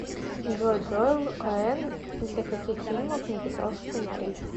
джой джоэл коэн для каких фильмов написал сценарии